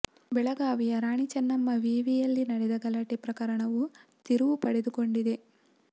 ಬೆಳಗಾವಿಯ ರಾಣಿ ಚನ್ನಮ್ಮ ವಿವಿಯಲ್ಲಿ ನಡೆದ ಗಲಾಟೆ ಪ್ರಕರಣ ತಿರುವು ಪಡೆದುಕೊಂಡಿದೆ